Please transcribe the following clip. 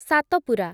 Satpura